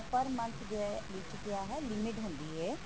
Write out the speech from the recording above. ਪਰ month ਜੋ ਹੈ ਇਸ ਚ ਕਿਆ ਹੈ limit ਹੁੰਦੀ ਹੈ